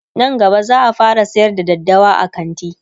Nan gaba zaa fara sayar da daddawa a kanti